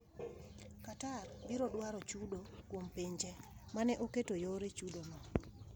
Qatar biro dwaro chudo kuom pinje ma ne oketo yore chudono.